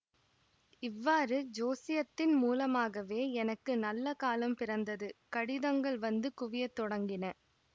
இவ்வாறு ஜோசியத்தின் மூலமாகவே எனக்கு நல்ல காலம் பிறந்தது கடிதங்கள் வந்து குவிய தொடங்கின